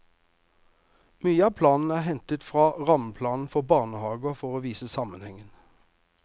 Mye av planen er hentet i fra rammeplanen for barnehager for å vise sammenhengen.